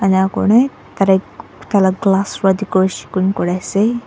koine tatey taila glass para decoration kori ase.